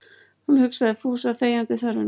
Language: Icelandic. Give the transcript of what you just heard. Hún hugsaði Fúsa þegjandi þörfina.